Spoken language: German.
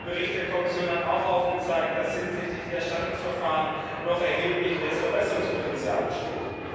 Der Bericht der Kommission hat auch aufgezeigt, dass hinsichtlich der Erstattungsverfahren noch erhebliches Verbesserungspotenzial besteht.